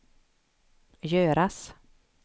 göras